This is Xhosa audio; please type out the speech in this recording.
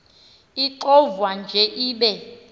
ixovwa nje ibe